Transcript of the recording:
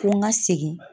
Ko n ka segin